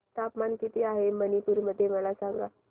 तापमान किती आहे मणिपुर मध्ये मला सांगा